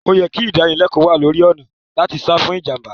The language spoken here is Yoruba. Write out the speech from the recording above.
O ye kí ìdánilẹ́kò wá lórí ọ̀nà làti sa fún ìjànbá